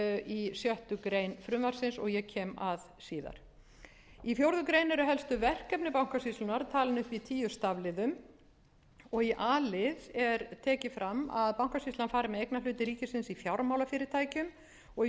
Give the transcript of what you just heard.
í sjöttu greinar frumvarpsins og ég kem að síðar fjórðu grein eru helstu verkefni bankasýslunnar talin upp í tíu stafliðum í a lið er tekið fram að bankasýslan fari með eignarhlut ríkisins í fjármálafyrirtækjum og í